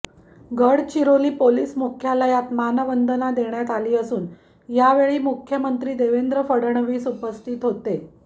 Gadchiroli police मुख्यालयात मानवंदना देण्यात आली असून यावेळी मुख्यमंत्री देवेंद्र फडणवीस उपस्थित होते